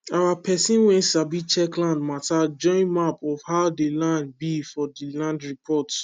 our pesin wen sabi check land mata join map of how dey land be for dey land reports